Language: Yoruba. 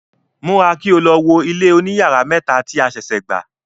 Múra, kí o lo wo ilé oní yàrá mẹ́ta tí a sèsè gbà!